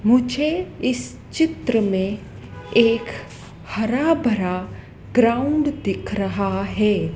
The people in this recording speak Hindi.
मुझे इस चित्र में एक हरा भरा ग्राउंड दिख रहा है।